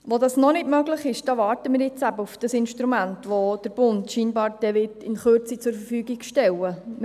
Wo das noch nicht möglich ist, da warten wir jetzt eben auf dieses Instrument, das der Bund scheinbar dann in Kürze zur Verfügung stellen wird.